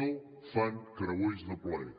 no fan creuers de plaer